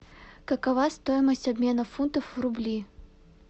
какова стоимость обмена фунтов в рубли